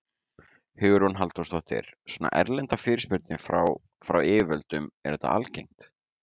Hugrún Halldórsdóttir: Svona erlendar fyrirspurnir frá, frá yfirvöldum, er þetta algengt?